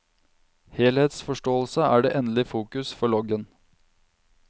Helhetsforståelse er det endelige fokus for loggen.